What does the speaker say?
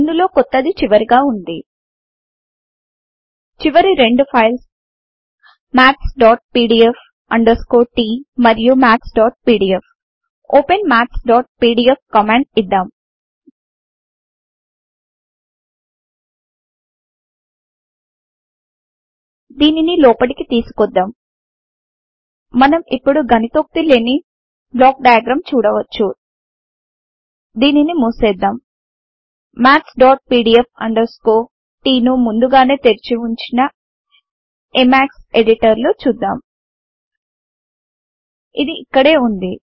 ఇందులో కొత్తది చివరగా వుంది చివరి రెండు files mathspdf t and maths PDF open maths PDF command ఇద్దాం దీనిని లోపటికి తీసుకొద్దాం మనం ఇప్పుడు గణితోక్తి లేని బ్లాక్ డయాగ్రామ్ చూడవచ్చు దీనిని మూసేద్దాం mathspdf t ను ముందుగానే తెరిచివుంచిన ఎమాక్స్ ఎడిటర్ లో చూద్దాం ఇది ఇక్కడే ఉంది